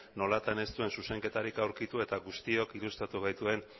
nolatan ez duen zuzenketarik aurkitu eta guztiok ilustratu gaituen